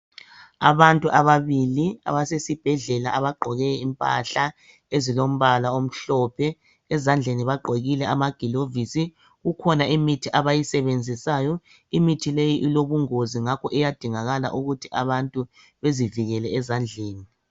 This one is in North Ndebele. Abantu ababili abasesibhedlela abagqoke impahla ezilombala omhlophe ezandleni bagqokile amagilovisi kukhona imithi abayisebenzisayo imithi leyi ilobungozi ngakho kuyadingakala ukuthi abantu bezivikele ezandleni.